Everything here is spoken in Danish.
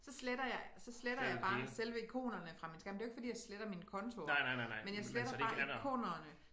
Så sletter jeg så sletter jeg bare selve ikonerne fra min skærm det er jo ikke fordi jeg sletter min konto men jeg sletter bare ikonerne